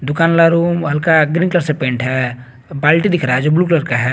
दुकान वाला रूम हल्का ग्रीन कलर से पेंट है बाल्टी दिख रहा है जो ब्लू कलर का है।